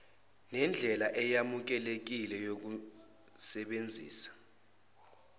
nendlela eyamukelekile yokusebenzisa